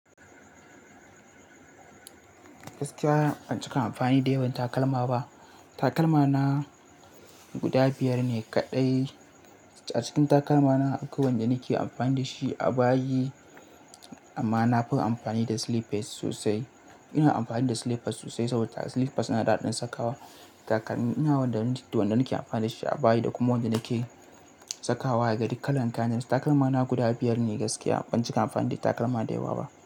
Gaskiya ban cika amfani da yawan takalma ba. Takalma na guda biyar ne kaɗai. A cikin takalma na akwai wanda nake amfani da shi a bayi amma na fi amfani da slippers sosai. Ina amfani da slippers sosai saboda slippers yana da haɗin sakawa. Takalmina wanda nake amfani da shi a bayi da kuma wanda nake sakawa daga cikin kalan kayan. Takalma na guda biyar ne gaskiya ban cika amfani da takalma da yewa ba.